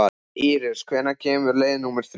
Ísis, hvenær kemur leið númer þrjú?